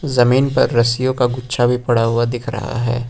जमीन पर रस्सियों का गुच्छा भी पड़ा हुआ दिख रहा है।